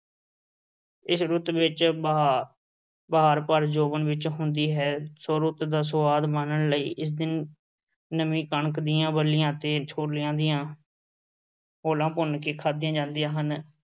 ਇਸ ਰੁੱਤ ਵਿੱਚ ਬਹਾਰ ਭਰ ਜ਼ੋਬਨ ਵਿੱਚ ਹੁੰਦੀ ਹੈ। so ਰੁੱਤ ਦਾ ਸੁਆਦ ਮਾਨਣ ਲਈ ਇਸ ਦਿਨ ਨਵੀਂ ਕਣਕ ਦੀ ਬੱਲੀਆਂ ਤੇ ਛੋਲਿਆਂ ਦੀਆਂ ਹੋਲਾਂ ਭੁੰਨ ਕੇ ਖਾਧੀਆਂ ਜਾਂਦੀਆਂ ਹਨ।